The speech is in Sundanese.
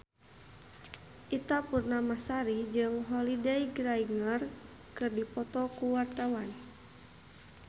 Ita Purnamasari jeung Holliday Grainger keur dipoto ku wartawan